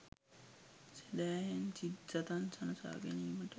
සැදැහැයෙන් සිත් සතන් සනසා ගැනීමට